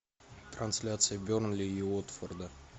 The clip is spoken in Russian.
трансляция бернли и уотфорда